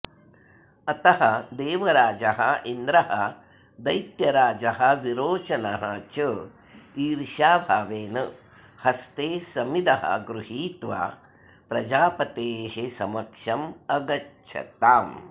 अतः देवराजः इन्द्रः दैत्यराजः विरोचनः च ईर्ष्याभावेन हस्ते समिदः गृहीत्वा प्रजापतेः समक्षम् अगच्छताम्